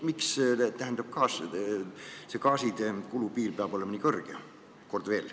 Miks see gaasitarbijate kulupiir peab olema nii kõrge?